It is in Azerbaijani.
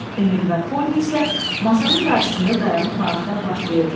Emil və Poni isə masanın qarşısında dayanıb maraqdan partlayırdılar.